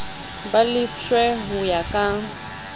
ba lefshwe ho ya ka